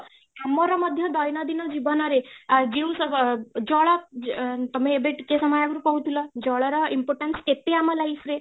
ଆମର ମଧ୍ୟ ଦୈନଦିନ ଜୀବନରେ ଯେଉଁ ଜଳ ଅ ତମେ ଏବେ ଟିକେ ସମୟ ଆଗରୁ କହୁଥିଲ ଜଳର importance କେତେ ଆମ life ରେ